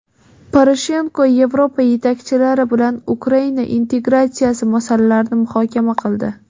Poroshenko Yevropa yetakchilari bilan Ukraina integratsiyasi masalalarini muhokama qildi.